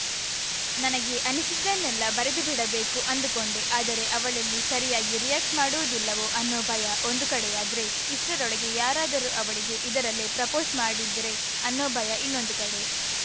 ನನಗೆ ಅನ್ನಿಸಿದ್ದನ್ನೆಲ್ಲ ಬರೆದು ಬಿಡಬೇಕು ಅಂದುಕೊಂಡೆ ಆದರೆ ಅವಳೆಲ್ಲಿ ಸರಿಯಾಗಿ ರಿಯಾಕ್ಟ್ ಮಾಡುವುದಿಲ್ಲವೋ ಅನ್ನೋ ಭಯ ಒಂದು ಕಡೆಯಾದ್ರೆ ಇಷ್ಟರೊಳಗೆ ಯಾರಾದ್ರೂ ಅವಳಿಗೆ ಇದರಲ್ಲೇ ಪ್ರಪೋಸ್‌ ಮಾಡಿದ್ರೆ ಅನ್ನೊ ಭಯ ಇನ್ನೊಂದು ಕಡೆ